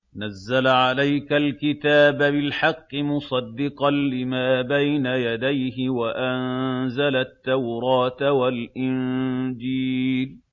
نَزَّلَ عَلَيْكَ الْكِتَابَ بِالْحَقِّ مُصَدِّقًا لِّمَا بَيْنَ يَدَيْهِ وَأَنزَلَ التَّوْرَاةَ وَالْإِنجِيلَ